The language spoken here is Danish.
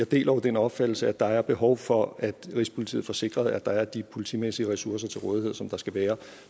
deler den opfattelse at der er behov for at rigspolitiet får sikret at der er de politimæssige ressourcer til rådighed som der skal være